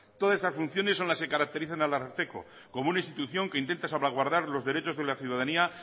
todas estas funciones son las que caracterizan al ararteko como una institución que intenta salvaguardar los derechos de la ciudadanía